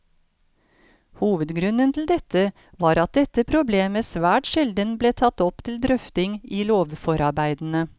Hovedgrunnen til dette var at dette problemet svært sjelden ble tatt opp til drøfting i lovforarbeidene.